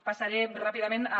passaré ràpidament a